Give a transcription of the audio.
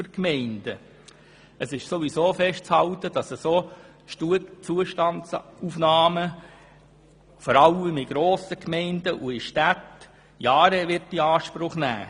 Ohnehin ist festzuhalten, dass solche Zustandsaufnahmen vor allem in grossen Gemeinden und in Städten Jahre beanspruchen.